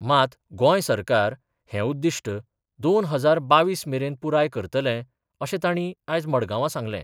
मात गोय सरकार हे उद्दिष्ट दोन हजार बावीस मेरेन पुराय करतले अशे ताणी आयज मडगांवा सांगलें.